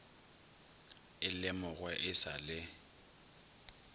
e lemogwe e sa le